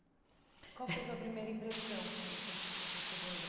Qual foi a sua primeira impressão quando ce che você chegou no Bra